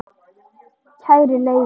Kæri Leifi,